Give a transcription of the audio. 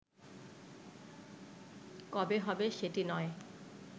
কবে হবে সেটি নয়